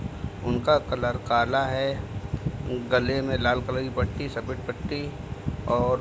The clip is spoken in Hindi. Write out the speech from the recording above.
उनका कलर काला हऐ। गले में लाल कल की पट्टी सफ़ेद पट्टी और --